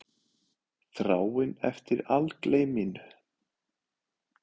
Þráin eftir algleyminu.